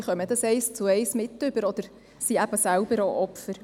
Sie bekommen das eins zu eins mit oder sind eben selbst auch Opfer.